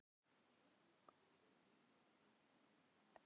Baldrún, kveiktu á sjónvarpinu.